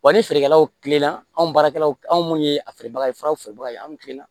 Wa ni feerekɛlaw kilenna anw baarakɛlaw anw ye a feerebaga ye furaw feerebagaw ye anw kilen